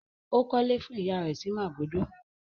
Ó kọ́lé fún ìyá rẹ̀ sí Màgódò?